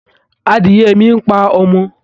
Adìye mi ń pa ọmọ